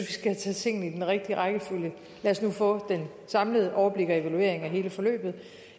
vi skal tage tingene i den rigtige rækkefølge lad os nu få det samlede overblik og evaluering af hele forløbet